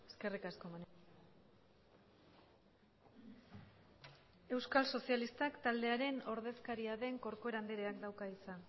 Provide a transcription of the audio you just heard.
eskerrik asko euskal sozialistak taldearen ordezkaria den corcuera andreak dauka hitza